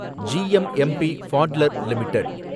GMMB Butler limited